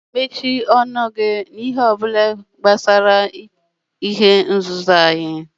Ị ga-emesi ọnụ gị n'ihe ọbụla gbasara ikpughe ihe nzuzo anyị!